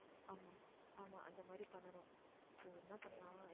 ஆமா, ஆமா, அந்த மாதிரி பண்ணணும் so என்ன பண்ணலாம்